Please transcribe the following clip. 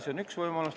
See on üks võimalus.